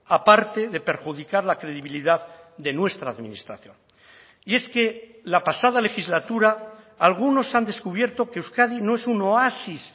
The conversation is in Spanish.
aparte de perjudicar la credibilidad de nuestra administración y es que la pasada legislatura algunos han descubierto que euskadi no es un oasis